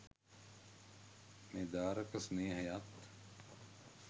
මේ දාරක ස්නේහයත්